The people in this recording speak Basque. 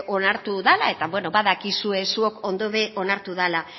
dela eta badakizue zuek ondo ere onartu dela